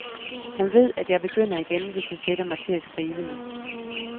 Han ved, at jeg begynder igen, hvis jeg sætter mig til at skrive nu.